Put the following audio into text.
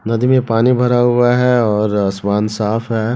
नदी में पानी भरा हुआ है और आसमान साफ है।